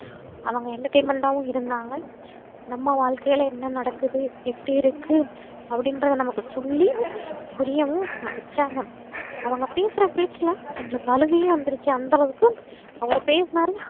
அவங்க entertainment டாவும் இருந்தாங்க நம்ம வாழ்க்கைல என்ன நடக்குது எப்டி இருக்கு அப்டின்றத நமக்கு சொல்லி புரியவும் வச்சாங்க அவங்க பேசுற பேச்சுல எங்களுக்கு அழுகையே வந்துருச்சு அந்த அளவுக்கு அவர் பேசுனாரு